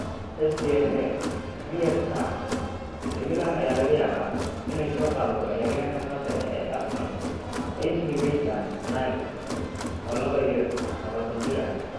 (Sdna, via Star) AC Milan ayaa laga yaabaa inay soo qaadato ciyaaryahanka khadka dhexe ee Arsenal Ainsley Maitland-Niles, oo laba iyo labatan jir ah.